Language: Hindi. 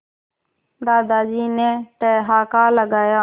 दादाजी ने ठहाका लगाया